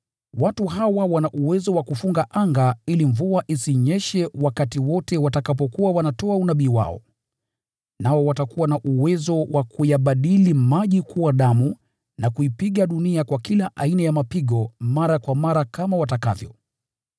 Watu hawa wanao uwezo wa kufunga anga ili mvua isinyeshe wakati wote watakapokuwa wanatoa unabii wao. Nao watakuwa na uwezo wa kuyabadili maji kuwa damu na kuipiga dunia kwa kila aina ya mapigo mara kwa mara kama watakavyo.